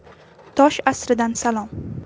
Tosh asridan salom.